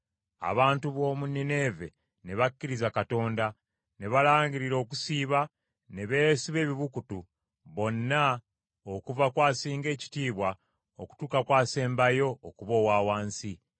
Abantu b’omu Nineeve ne bakkiriza Katonda, ne balangirira okusiiba ne beesiba ebibukutu, bonna okuva ku asinga ekitiibwa okutuuka ku asembayo okuba owa wansi.